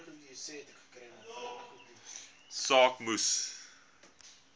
saak moes